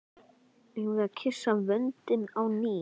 Eigum við að kyssa vöndinn á ný?